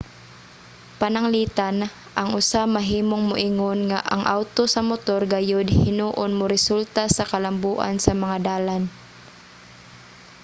pananglitan ang usa mahimong moingon nga ang awto sa motor gayod hinuon moresulta sa kalambuan sa mga dalan